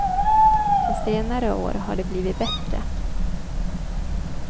På senare år har det blivit bättre.